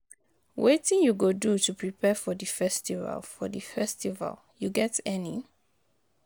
Wetin you go do to prepare for di festival, for di festival, you get any?